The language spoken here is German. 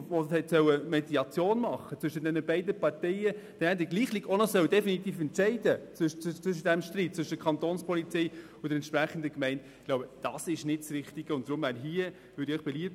Aus meiner Sicht ist es nicht das Richtige, wenn es dabei nicht zu einem Entscheid kommt und derselbe, der die Mediation zwischen den beiden Parteien hätte machen sollen, auch noch den definitiven Entscheid treffen soll.